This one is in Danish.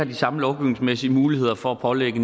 de samme lovgivningsmæssige muligheder for at pålægge